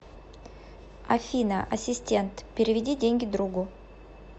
афина ассистент переведи деньги другу